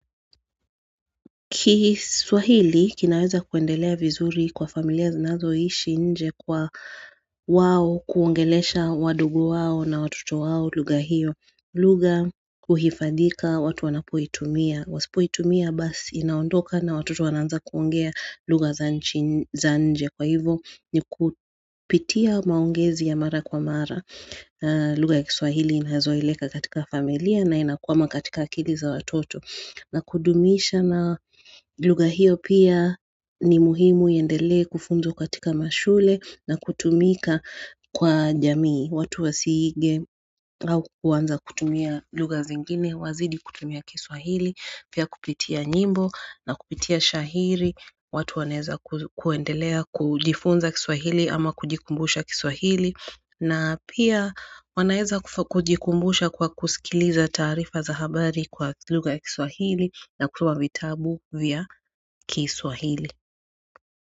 Kiswahili kinaweza kuendelea vizuri kwa familia zinazoishi nje kwa wao kuongelesha wadogo wao na watoto wao lugha hiyo. Lugha huhifadhika watu wanapoitumia. Wasipoitumia basi inaondoka na watoto wanaanza kuongea lugha za nje kwa hivyo ni kupitia maongezi ya mara kwa mara. Lugha ya kiswahili inazoeleka katika familia na inakwama katika akili za watoto. Na kudumisha na lugha hiyo pia ni muhimu iendelee kufunzwa katika mashule na kutumika kwa jamii watu wasije au kuanza kutumia lugha zingine, wazidi kutumia kiswahili, pia kupitia nyimbo na kupitia shairi watu wanaeza kuendelea kujifunza kiswahili ama kujikumbusha kiswahili na pia wanaeza kujikumbusha kwa kusikiliza taarifa za habari kwa lugha ya kiswahili na kutoa vitabu vya kiswahili.